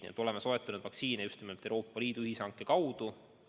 Nii et oleme soetanud vaktsiine just nimelt Euroopa Liidu ühishanke kaudu.